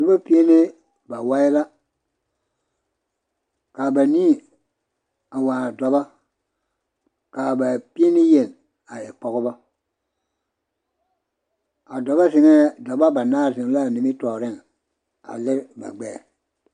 Noba pie ne bawae la ka banii a waa dɔba ka ba pie ne yeni a e Pɔgeba a dɔba zeŋɛɛ a dɔba banaare zeŋ la a nimitɔɔre a lere ba gbɛɛ.